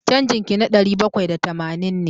Canjin ki na ɗari bakwai da tamanin ne.